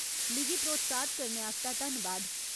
मिगी प्रोत्साहत करने आस्तै धन्नबाद।